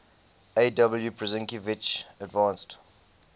aw prusinkiewicz advanced